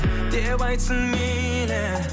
деп айтсын мейлі